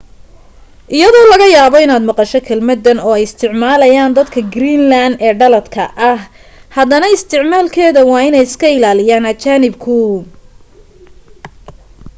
iyadoo laga yaabo inaad maqasho kelmaddan oo ay isticmaalayaan dadka greeland ee dhaladka ah haddana isticmaalkeeda waa inay iska ilaaliyaan ajaanibku